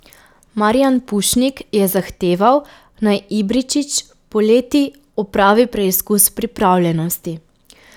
Marijan Pušnik je zahteval, naj Ibričić poleti opravi preizkus pripravljenosti.